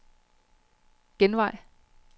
genvej